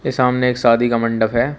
ये सामने एक शादी का मंडप है।